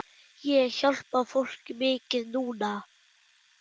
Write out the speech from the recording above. Ég hjálpa fólki mikið núna.